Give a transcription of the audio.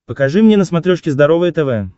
покажи мне на смотрешке здоровое тв